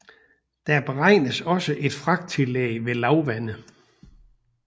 Der beregnes også et fragttillæg ved lavvande